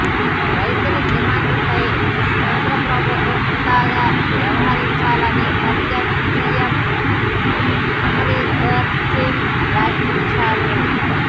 రైతుల డిమాండ్లపై కేంద్ర ప్రభుత్వం హుందాగా వ్యవహరించాలని పంజాబ్ సీఎం అమరీందర్ సింగ్ వ్యాఖ్యానించారు